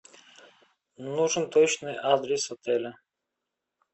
нужен точный адрес отеля